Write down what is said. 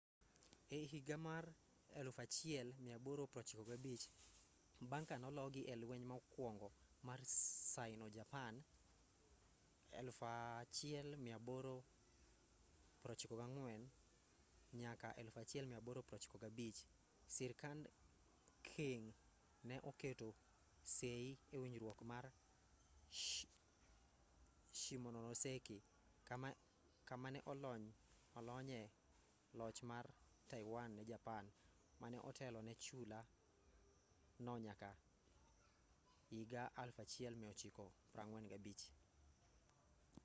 e higa mar 1895 bang' ka nologi e lweny mokuongo mar sino - japan 1894-1895 sirkand qing ne oketo sei e winjruok mar shimonoseki kama ne olonyoe loch mare mar taiwan ne japan mane otelo ne chula no nyaka 1945